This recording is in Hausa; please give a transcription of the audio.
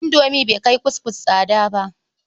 Indomi bai kai kuskus tsada ba.